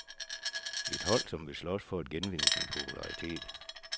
Et hold, som vil slås for at genvinde sin popularitet.